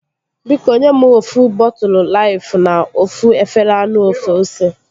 Biko nye mụ ofu bọtụlu Laifu na ofu efere anụ ofe ose